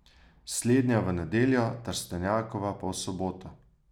Slednja v nedeljo, Trstenjakova pa v soboto.